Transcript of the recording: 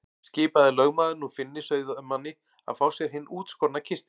Skipaði lögmaður nú Finni sauðamanni að fá sér hinn útskorna kistil.